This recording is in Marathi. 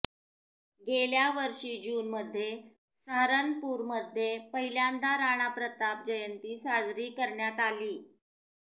गेल्यावर्षी जूनमध्ये सहारनपूरमध्ये पहिल्यांदा राणाप्रताप जयंती साजरी करण्यात आली